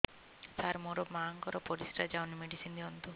ସାର ମୋର ମାଆଙ୍କର ପରିସ୍ରା ଯାଉନି ମେଡିସିନ ଦିଅନ୍ତୁ